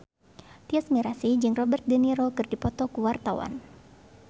Tyas Mirasih jeung Robert de Niro keur dipoto ku wartawan